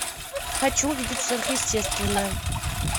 хочу увидеть сверхъестественное